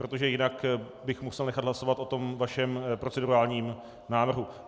Protože jinak bych musel nechat hlasovat o tom vašem procedurálním návrhu.